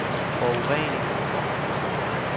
forurening